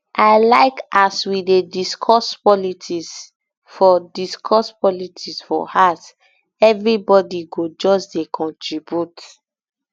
i like as we dey discuss politics for discuss politics for house everybodi go just dey contribute